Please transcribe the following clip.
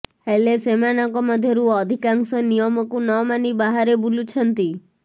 ହେଲେ ସେମାନଙ୍କ ମଧ୍ୟରୁ ଅଧିକାଂଶ ନିୟମକୁ ନ ମାନି ବାହାରେ ବୁଲୁଛନ୍ତି